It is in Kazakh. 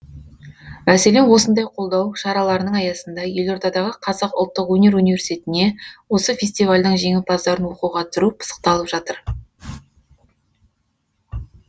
мәселен осындай қолдау шараларының аясында елордадағы қазақ ұлттық өнер университетіне осы фестивальдің жеңімпаздарын оқуға түсіру пысықталып жатыр